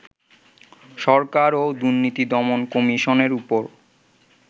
সরকার ও দুর্নীতি দমন কমিশনের উপর